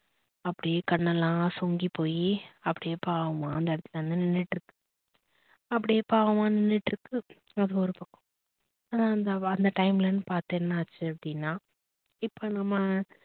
அப்டியே கண்ணுலாம் சொங்கி போய் அப்படியே பாவமா அந்த இடத்துல வந்து நின்னுட்டு இருக்கு அப்படியே பாவமா நின்னுட்டு இருக்கு எர் அந்த time லன்னு பாத்து என்னா ஆச்சு அப்படினா இப்ப நம்ப